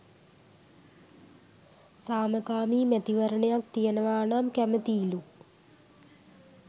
සාමකාමී මැතිවරණයක් තියෙනවා නම් කැමැතියිලු.